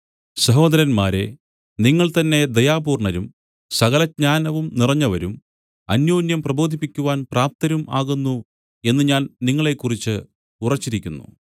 സഹോദരന്മാരേ നിങ്ങൾ തന്നേ ദയാപൂർണ്ണരും സകല ജ്ഞാനവും നിറഞ്ഞവരും അന്യോന്യം പ്രബോധിപ്പിക്കുവാൻ പ്രാപ്തരും ആകുന്നു എന്നു ഞാൻ നിങ്ങളെക്കുറിച്ച് ഉറച്ചിരിക്കുന്നു